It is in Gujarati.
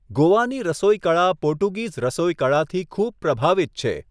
ગોવાની રસોઈકળા પોર્ટુગીઝ રસોઈકળાથી ખૂબ પ્રભાવિત છે.